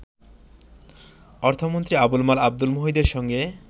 অর্থমন্ত্রী আবুল মাল আবদুল মুহিতের সঙ্গে